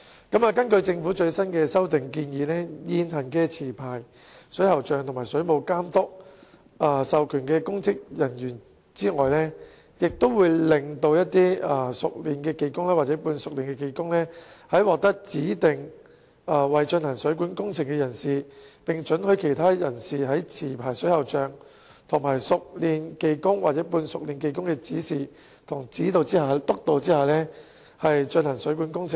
根據政府最新的修訂建議，除現行持牌水喉匠和水務監督授權的公職人員外，也會讓熟練技工或半熟練技工獲指定為進行水管工程的人士，並准許其他人士在持牌水喉匠和熟練技工或半熟練技工的指示和督導下進行水管工程。